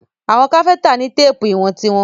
Àwọn Káfíntà ni téèpù ìwọ̀n tí wọ́n.